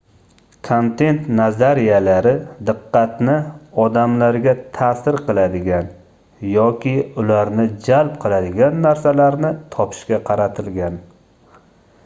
kontent nazariyalari diqqatni odamlarga taʼsir qiladigan yoki ularni jalb qiladigan narsalarni topishga qaratilgan